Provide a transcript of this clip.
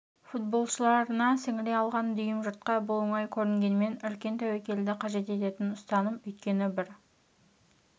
футболшыларына сіңіре алған дүйім жұртқа бұл оңай көрінгенмен үлкен тәуекелді қажет ететін ұстаным өйткені бір